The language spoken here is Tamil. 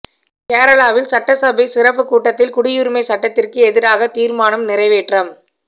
கேரளாவில் சட்டசபை சிறப்பு கூட்டத்தில் குடியுரிமை சட்டத்திற்கு எதிராக தீர்மானம் நிறைவேற்றம்